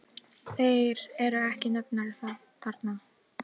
Þeir eru ekki nefndir þarna.